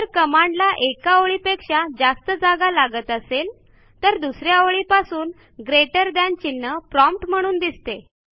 जर कमांडला एका ओळीपेक्षा जास्त जागा लागत असेल तर दुस या ओळीपासून ग्रेटर थान चिन्ह प्रॉम्प्ट म्हणून दिसते